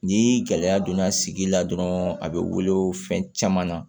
Ni gɛlɛya donna sigi la dɔrɔn a be wele fɛn caman na